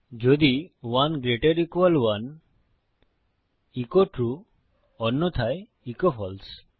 যদি 1 gt 1 echo true অন্যথায় echo ফালসে